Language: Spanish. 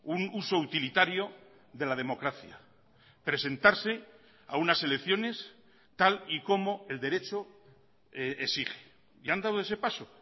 un uso utilitario de la democracia presentarse a unas elecciones tal y como el derecho exige y han dado ese paso